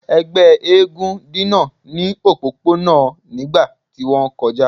Ẹgbẹ eégún dina ni opopona nigba ti won koja